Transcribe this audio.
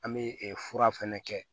An bɛ fura fɛnɛ kɛ